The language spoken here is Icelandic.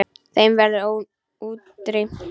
Þeim verður útrýmt.